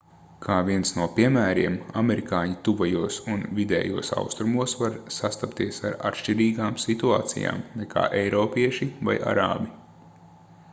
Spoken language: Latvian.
kā viens no piemēriem amerikāņi tuvajos un vidējos austrumos var sastapties ar atšķirīgām situācijām nekā eiropieši vai arābi